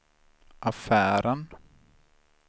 affären